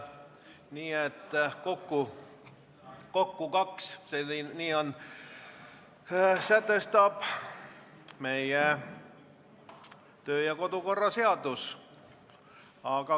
Nii et kokku kaks, nii sätestab meie kodu- ja töökorra seadus.